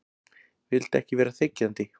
Vildi ekki vera þiggjandi.